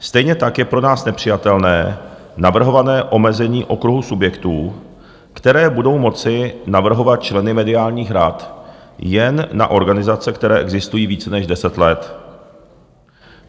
Stejně tak je pro nás nepřijatelné navrhované omezení okruhu subjektů, které budou moci navrhovat členy mediálních rad, jen na organizace, které existují více než deset let.